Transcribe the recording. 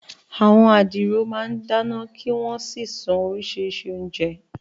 Àwọn adiro máa ń dáná kí wọ́n sì sun oríṣiríṣi oúnjẹ.